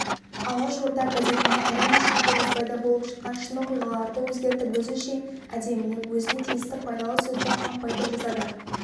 алашорда газетіне әрине шындықты жазбайды болып жатқан шын оқиғаларды өзгертіп өзінше әдемілеп өзіне тиісті пайдалы сөзді қампайтып жазады